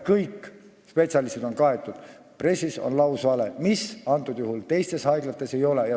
Kõik spetsialistid on olemas – pressis avaldati lausvalet –, mida teistes haiglates ei ole.